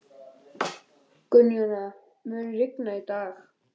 Gunnjóna, mun rigna í dag?